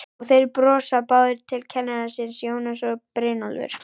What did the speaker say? Og þeir brosa báðir til kennara síns, Jónas og Brynjólfur.